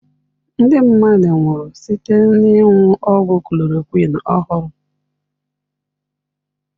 Ndị mmadụ nwụrụ site n'ịṅụ ọgwụ chloroquine ọhụrụ.